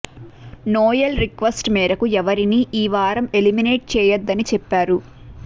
Noel request మేరకు ఎవరిని ఈ వారం ఎలిమినేట్ చేయొద్దని చెప్పారు